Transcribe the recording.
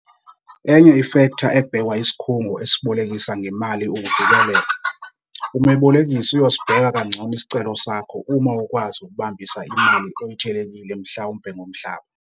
Enye i-fektha ebhekwa yisikhungo esibolekisa ngemali ukuvikeleka. Umebolekisi uyosibheka kangcono isicelo sakho uma ukwazi ukubambisa imali oyetshelekile mhlawumpe ngomhlaba.